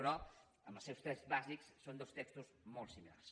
però en els seus trets bàsics són dos textos molt similars